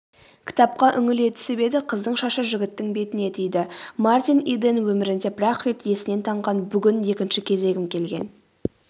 кітапқа үңіле түсіп еді қыздың шашы жігіттің бетіне тиді.мартин иден өмірінде бір-ақ рет есінен танған бүгін екінші кезегім келген